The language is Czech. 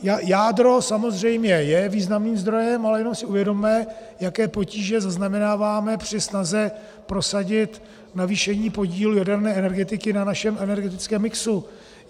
Jádro samozřejmě je významným zdrojem, ale jenom si uvědomme, jaké potíže zaznamenáváme při snaze prosadit navýšení podílu jaderné energetiky na našem energetickém mixu.